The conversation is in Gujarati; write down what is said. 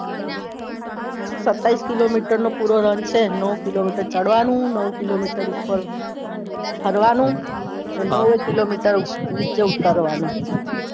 સત્તાવીસ કિલોમીટર નો પૂરો રન છે નૌ કિલોમીટર ચઢવાનું નૌ કિલોમીટર ઉપર ફરવાનું અને નૌ કિલોમીટર નીચે ઉતારવાનું